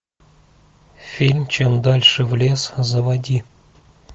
фильм чем дальше в лес заводи